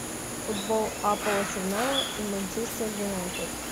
футбол апл арсенала и манчестер юнайтед